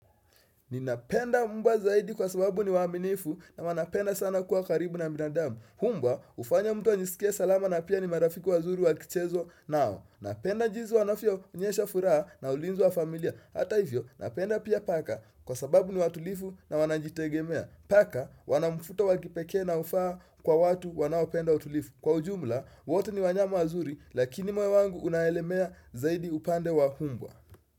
Ninapenda mbwa zaidi kwa sababu ni waaminifu na wanapenda sana kuwa karibu na binadamu mbwa hufanya mtu ajisikie salama na pia ni marafiki wazuri wakichezwa nao Napenda jinsi wanavyoonyesha furaha na ulinzi wa familia Hata hivyo napenda pia paka kwa sababu ni watulivu na wanajitegemea Paka wanamfuto wakipekee na hufaa kwa watu wanaopenda utulivu Kwa ujumla, wote ni wanyama wazuri lakini moyo wangu unaegemea zaidi upande wa mbwa.